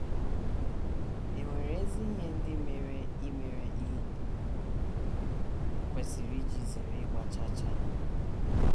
È nwere ezi ihe ndị mere i mere i kwesịrị iji zere ịgba chaa chaa?